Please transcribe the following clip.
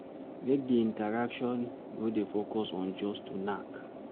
Make di intraction no dey focus on just to knack